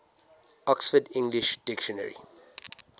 oxford english dictionary